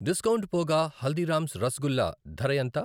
Discount పోగా హల్దీరామ్స్ రసగుల్లా ధర ఎంత?